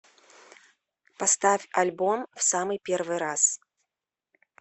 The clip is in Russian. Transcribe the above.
поставь альбом в самый первый раз